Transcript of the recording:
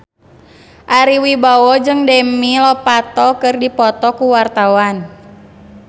Ari Wibowo jeung Demi Lovato keur dipoto ku wartawan